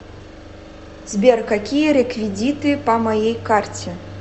сбер какие реквидиты по моей карте